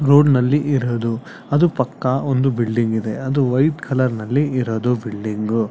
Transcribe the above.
Road ನಲ್ಲಿ ಇರೋದು ಅದು ಪಕ್ಕ ಒಂದು ಬಿಲ್ಡಿಂಗ್ ಇದೆ ಅದು ವೈಟ್ ಕಲರ್ ನಲ್ಲಿ ಇರೋದು ಬಿಲ್ಡಿಂಗ್ ಗು.